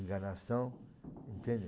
Enganação, entende?